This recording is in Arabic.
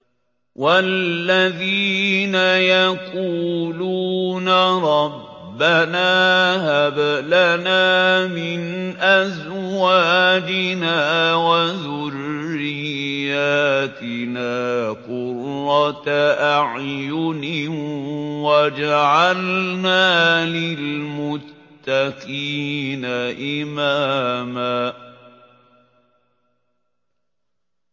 وَالَّذِينَ يَقُولُونَ رَبَّنَا هَبْ لَنَا مِنْ أَزْوَاجِنَا وَذُرِّيَّاتِنَا قُرَّةَ أَعْيُنٍ وَاجْعَلْنَا لِلْمُتَّقِينَ إِمَامًا